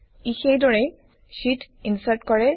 ই সেইদৰেই শ্বিট ইনচাৰ্ট কৰে